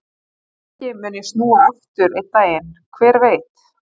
Kannski mun ég snúa aftur einn daginn, hver veit?